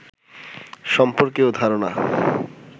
সর্ম্পকেও ধারণা